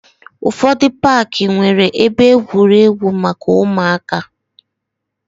Ụfọdụ paaki nwere ebe egwuregwu maka ụmụaka.